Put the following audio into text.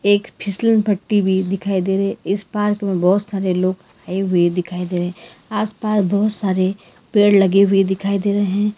एक फिसलन पट्टी भी दिखाई दे रहे इस पार्क में बहोत सारे लोग आए हुए दिखाई दे रहे आसपास बहुत सारे पेड़ लगे हुए दिखाई दे रहे हैं।